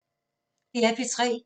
DR P3